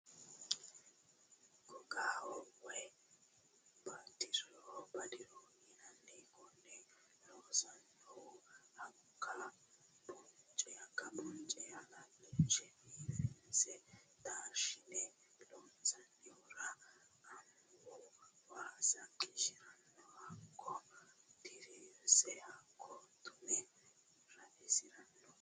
Gogaho woyi badiroho yinanni kone loonsanihu hakka bonce halashine biifinse taashshine loonsonihura amuwu waasa qishirano hakko dirirse hakko tume raisirano.